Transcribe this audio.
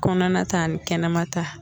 Kɔnɔna ta ni kɛnɛma ta